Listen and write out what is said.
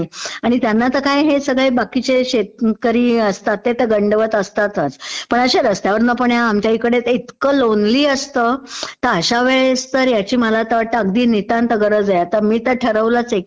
आणि त्यांना तर हे सगळे बाकीचे शेतकरी असतात ते तर अगदी गंडवत असतातचं, पण असे रस्त्यावरन कोण जात असेल तर आमच्या इकडे तर इतकं लोनली असतं, तर अश्या वेळेस तर ह्याची मात्र मला तर वाटतं अगदी नितांत गरज आहे. आता मी तर ठरवलचं आहे